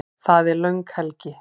Það er löng helgi.